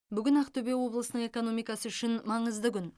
бүгін ақтөбе облысының экономикасы үшін маңызды күн